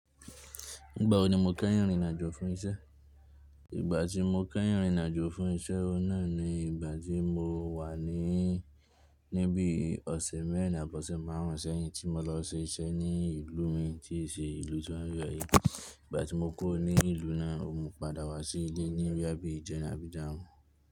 Nígbàwo ni mo kẹ́yìn rin ìrìn àjò fún iṣẹ́? Ìgbà tí mo kẹ́yìn rìnrìn àjò fún iṣẹ́ òun náà ni ìgbà tí mo wà ní ní bíi ọ̀sẹ̀ mẹ́rin àbí ọ̀sẹ̀ márùn ún sẹ́yìn tí mo lọ ṣe iṣẹ́ ní ìlú mi tí í ṣe ìlú tí ó ń yo yìí. Ìgbà tí mo kúrò ní ìlú náà mo padà wá sí ilé ní bóyá bíi ijẹerin àbí ijaarun.